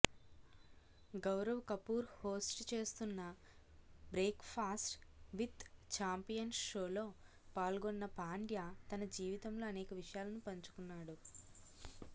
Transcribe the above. Gaurav Kapoor host చేస్తున్న breakfast with champions షోలో పాల్గొన్న పాండ్యా తన జీవితంలో అనేక విషయాలను పంచుకున్నాడు